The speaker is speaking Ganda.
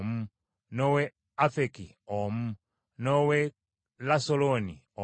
n’ow’e Afeki omu n’ow’e Lasaloni omu,